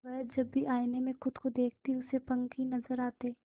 वह जब भी आईने में खुद को देखती उसे पंख ही नजर आते